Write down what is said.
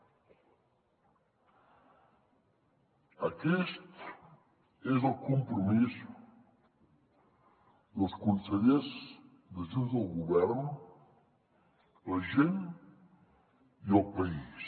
aquest és el compromís dels consellers de junts del govern la gent i el país